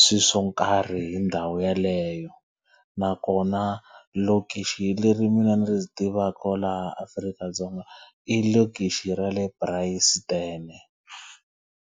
swilo swo nkarhi ri ndhawu yeleyo. Nakona lokixi leri mina ni ri tivaka laha Afrika-Dzonga i lokixi ra le Bryanston.